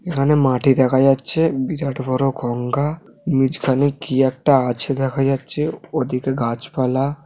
এখানে মাটি দেখা যাচ্ছে বিরাট বড় গঙ্গা নিজখানে কি একটা আছে দেখা যাচ্ছেওদিকে গাছপালা--